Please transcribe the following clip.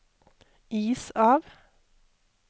is av